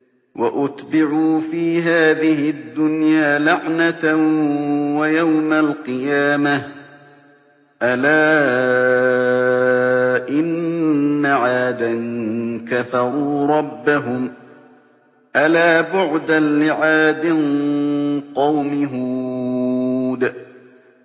وَأُتْبِعُوا فِي هَٰذِهِ الدُّنْيَا لَعْنَةً وَيَوْمَ الْقِيَامَةِ ۗ أَلَا إِنَّ عَادًا كَفَرُوا رَبَّهُمْ ۗ أَلَا بُعْدًا لِّعَادٍ قَوْمِ هُودٍ